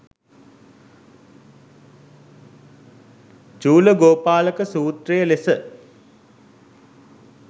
චූලගෝපාලක සූත්‍රය ලෙස